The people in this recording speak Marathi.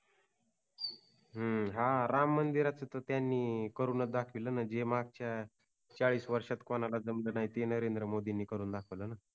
हम्म हा राम मंदिराच ते करूनच दाखवल ना जे मागच्या चाळीस वर्षात कोणाला जमल नाही ते नरेंद्र मोदींनी करून दाखवलना